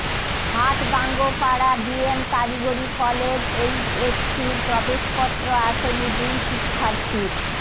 Hatgangopara BM কারিগরি college এইচএসসির প্রবেশপত্র আসেনি দুই শিক্ষার্থীর